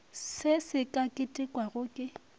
se se ka ketekwago ke